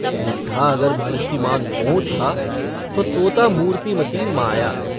बुड्ढा अगर मूर्तिमान मोह था तो तोता मूर्तिमती माया।